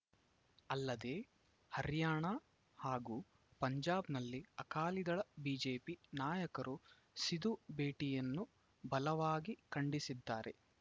ಅಲ್ಲದೆ ಹರ್ಯಾಣಾ ಹಾಗೂ ಪಂಜಾಬ್‌ನಲ್ಲಿ ಅಕಾಲಿದಳಬಿಜೆಪಿ ನಾಯಕರು ಸಿಧು ಭೇಟಿಯನ್ನು ಬಲವಾಗಿ ಖಂಡಿಸಿದ್ದಾರೆ